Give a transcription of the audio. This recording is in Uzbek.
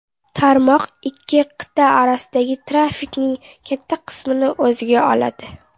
Tarmoq ikki qit’a orasidagi trafikning katta qismini o‘ziga oladi.